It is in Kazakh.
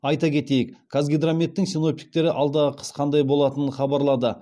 айта кетейік қазгидрометтің синоптиктері алдағы қыс қандай болатынын хабарлады